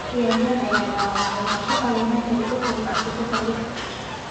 Ciyaaryahan ayaa dhaawacmay, waxaana Sheffield United ku tuurtay kubadda dib.